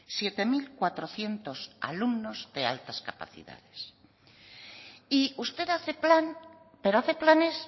siete mil cuatrocientos alumnos de altas capacidades y usted hace plan pero hace planes